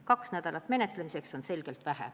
Kaks nädalat menetlemiseks on selgelt vähe.